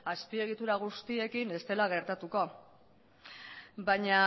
azpiegitura guztiekin ez dela gertatuko baina